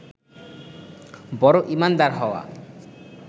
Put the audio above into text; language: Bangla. বড় ঈমানদার হওয়া